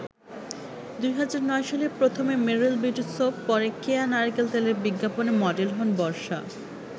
২০০৯ সালে প্রথমে Meril beauty soap, পরে কেয়া নারিকেল তেলের বিজ্ঞাপনে মডেল হন বর্ষা।